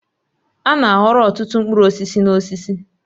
A na-aghọrọ ọtụtụ mkpụrụ osisi n'osisi.